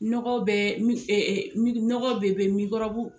NƆgɔ be nɔgɔ